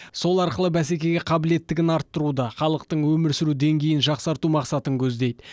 сол арқылы бәсекеге қабілеттігін арттыруды халықтың өмір сүру деңгейін жақсарту мақсатын көздейді